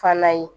Fana ye